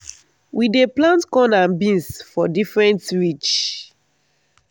we dey plant corn and beans for different ridge.